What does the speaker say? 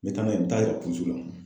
N be taa n'a ye n be taa yira polisiso la.